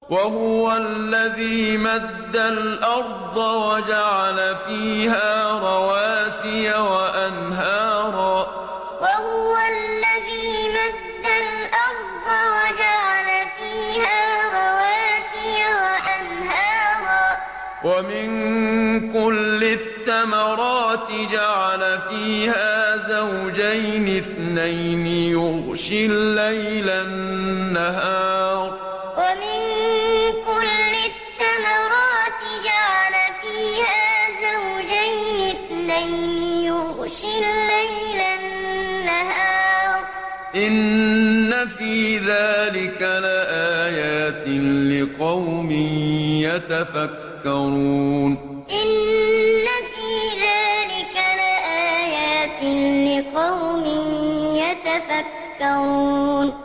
وَهُوَ الَّذِي مَدَّ الْأَرْضَ وَجَعَلَ فِيهَا رَوَاسِيَ وَأَنْهَارًا ۖ وَمِن كُلِّ الثَّمَرَاتِ جَعَلَ فِيهَا زَوْجَيْنِ اثْنَيْنِ ۖ يُغْشِي اللَّيْلَ النَّهَارَ ۚ إِنَّ فِي ذَٰلِكَ لَآيَاتٍ لِّقَوْمٍ يَتَفَكَّرُونَ وَهُوَ الَّذِي مَدَّ الْأَرْضَ وَجَعَلَ فِيهَا رَوَاسِيَ وَأَنْهَارًا ۖ وَمِن كُلِّ الثَّمَرَاتِ جَعَلَ فِيهَا زَوْجَيْنِ اثْنَيْنِ ۖ يُغْشِي اللَّيْلَ النَّهَارَ ۚ إِنَّ فِي ذَٰلِكَ لَآيَاتٍ لِّقَوْمٍ يَتَفَكَّرُونَ